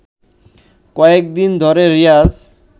কয়েকদিন ধরে রিয়াজ